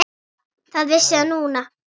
Það vissi hann núna.